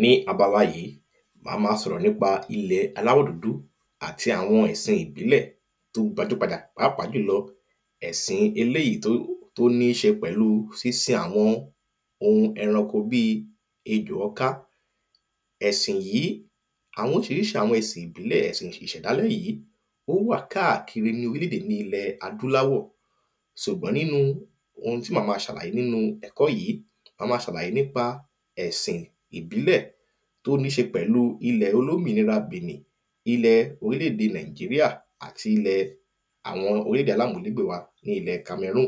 Ní abala yìí mà má sọ̀rọ̀ nípa ilẹ̀ aláwọ̀dúdú àti àwọn ẹ̀sìn ìbílẹ̀ tí ó gbajúgbajà pàápàá jùlọ ẹ̀sìn eléèyí tó níṣe pẹ̀lú sínsin àwọn ohun ẹranko bí ejò ọká Ẹ̀sìn yìí àwọn oríṣiríṣi àwọn ẹ̀sìn ìbílẹ̀ ẹ̀sìn ìṣẹ̀dá lónìí ó wà káàkiri ní orílẹ̀ èdè ilẹ̀ adúláwọ̀ ṣùgbọ́n nínú ohun tí mà má ṣàlàyé nínú ẹ̀kọ́ yìí mà má sàlàyé nípa ẹ̀sìn ìbílẹ̀ tó níṣe pẹ̀lú ilẹ̀ olómìnira Bènìn ilẹ̀ orílẹ̀ èdè nàíjíríà àti ilẹ̀ Àwọn orílẹ̀ èdè alámùlẹ́gbẹ̀ wa ní ilẹ̀ kamẹrúnù.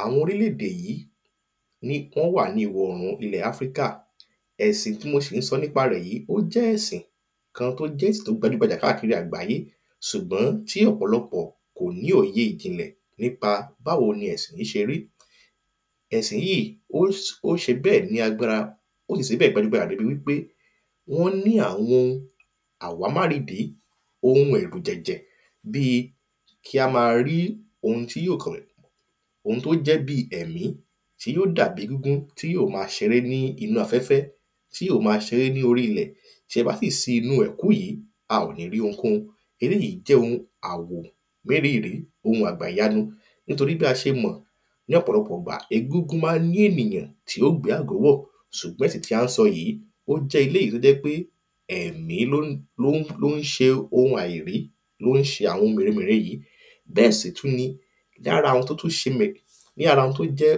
Àwọn orílẹ̀ èdè yìí ni wọ́n wà ní ìwọ̀ orùn ilẹ̀ áfríkà ẹ̀sìn tí mo sì ń sọ nípa rẹ̀ yìí ó jẹ́ ẹ̀sìn kan tó jẹ́ ẹ̀sìn tó gbajúgbajà káàkiri àgbáyé ṣùgbọ́n tí ọ̀pọ̀lọpọ̀ kò ní òye ìjìnlẹ̀ nípa báwo ni ẹ̀sìn yìí ṣe rí. Ẹ̀sìn yìí ó ṣe bẹ́ẹ̀ ní agbára ó sì ṣebẹ́ẹ̀ bí ẹni wípé wọ́n ní àwọn ohun àwámáridìí àwọn ohun ẹ̀rùjẹ̀jẹ̀ bí kí á má rí ohun tí yóò? ohun tó jẹ́ bí ẹ̀mí tí yó dàbí egúngún tí yó má ṣeré nínú afẹ̀fẹ́ tí ó má ṣeré ní orí ilẹ̀ tí ẹ bá fi sí inú ẹ̀kú yìí a ò ní rí ohunkóhun eléèyí jẹ́ ohun àwò mérìrì ohun àgbàyanu nítorípé bí a ṣe mọ̀ ní ọ̀pọ̀lọpọ̀ ìgbà egúngún má ń ní ènìyàn tí yó gbé ẹ̀kú wọ̀ ṣùgbọ́n ti tí à ń sọ yìí ó jẹ́ elêjí tó jẹ́ pé ẹ̀mí ló ń ló ń ṣe ohun àìrí ló ń ṣohun àwọn mère mère yìí. Bẹ́ẹ̀ sì tún ni lára àwọn tó tún ṣe lára àwọn tó tún jẹ́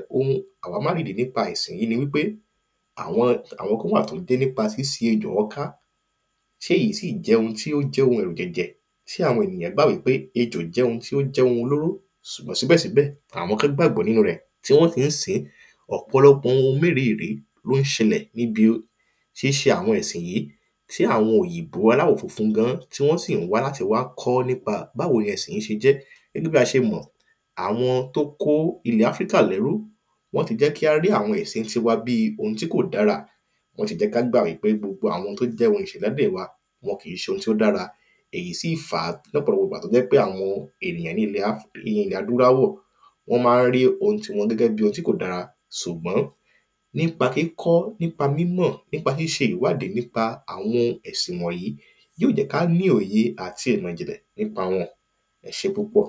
àwámáridì nípa ẹ̀sìn yìí ni wípé àwọn àwọn kan wà tó jẹ́ nípa sínsin ejò ọká tí èyí sí jẹ́ ohun tí ó jẹ́ ẹ̀rùjẹ̀jẹ̀ sí àwọn èyàn báyìí torípé ejò jẹ́ ohun olóró ṣùgbọ́n síbẹ̀ síbẹ̀ àwọn kan gbàgbọ́ nínú rẹ̀ tí wọ́n sì ń sìn ín. Ọ̀pọ̀lọpọ̀ ohun mérírì ló ń ṣẹlẹ̀ níbi tí ń ṣe àwọn ẹ̀sìn yìí tí àwọn òyìnbó aláwọ̀ funfun gan ti wọ́n sì ń wá láti wá kọ́ nípa báwo gan ni ẹ̀sìn yẹn ṣe jẹ́ gẹ́gẹ́ bí a ṣe mọ̀ àwọn tó kó ilẹ̀ áfríkà lẹ́rú wọ́n ti jẹ́ kí á rí àwọn ẹ̀sìn tiwa bí ohun tí kò dára wọ́n ti jẹ́ ká gbà wípé gbogbo àwọn tó jẹ́ ohun ìṣẹ̀dálẹ̀ wa kìí ṣe ohun tí ó dára èyí sí fàá lọ́pọ̀lọpọ̀ ìgbà tó fi jẹ́ pé àwọn ènìyàn ilẹ̀ adúláwọ̀ wọ́n má ń rí ohun tiwọn gẹ́gẹ́ bí ohun tí kò dára ṣùgbọ́n nípa kíkọ́ nípa mímọ̀ nípa ṣíṣe ìwádìí nípa àwọn ẹ̀sìn wọ̀nyìí yóò jẹ́ ká ní òye àti ìmọ̀ ìjìnlẹ̀ nípa wọn ẹṣé púpọ̀.